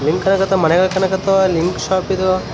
Link ಇದೆ ಇದೇನು ಕಂಬ ಕಾಣಕತ್ತದ ಗಾಡಿ ಕಾಣಕತ್ತದ ಬಯಲು .